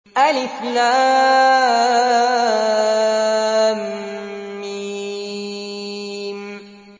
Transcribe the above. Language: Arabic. الم